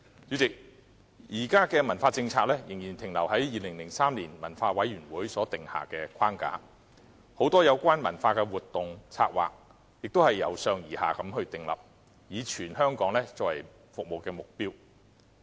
主席，現時的文化政策仍然停留在2003年文化委員會所訂下的框架，很多有關文化的活動、策劃，也是由上而下地訂立，以全港作為服務的對象。